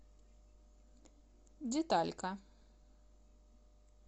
деталька